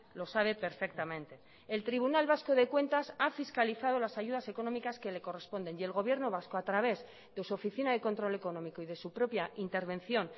lo sabe perfectamente el tribunal vasco de cuentas ha fiscalizado las ayudas económicas que le corresponden y el gobierno vasco a través de su oficina de control económico y de su propia intervención